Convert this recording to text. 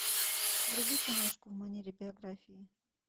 вруби киношку в манере биографии